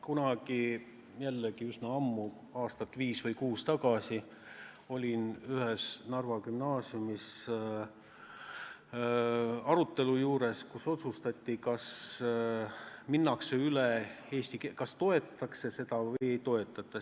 Kunagi jällegi üsna ammu, aastat viis või kuus tagasi, olin ma ühes Narva gümnaasiumis arutelu juures, kus otsustati, kas minnakse üle eesti keelele, kas toetatakse seda või ei toetata.